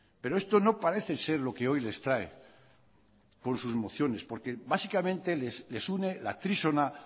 pero esto no parece ser lo que hoy les trae con sus mociones porque básicamente les une la trísona